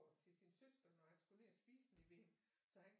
Til sin søster når han skulle ned og spise nede ved hende så han